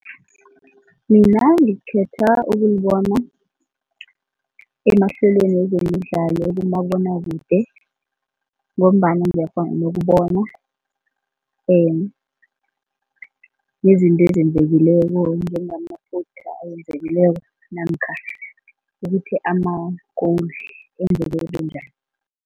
Mina ngikhetha ukuyibona emahlelweni wezemidlalo kumabonwakude ngombana ngiyakghona nokubona nezinto ezenzekileko ayenzekileko namkha ukuthi ama-goal enzeke bunjani.